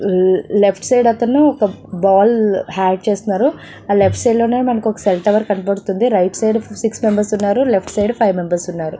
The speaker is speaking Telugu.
లెఫ్ట్ సైడ్ అతను ఒక బాల్ ఆడ్ చేస్తున్నాడు ఆ లెఫ్ట్ సైడ్ లోనే మనకు ఒక సెల్ టవర్ కనబడుతుంది రైట్ సైడ్ సిక్స్ మెంబెర్స్ ఉన్నారు లెఫ్ట్ సైడ్ ఫైవ్ మెంబెర్స్ ఉన్నారు.